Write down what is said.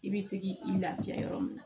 I bɛ se k'i i lafiya yɔrɔ min na